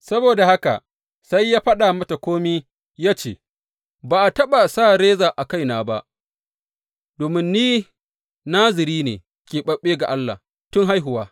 Saboda haka sai ya faɗa mata kome ya ce, Ba a taɓa sa reza a kaina ba, domin ni Naziri ne keɓaɓɓe ga Allah tun haihuwa.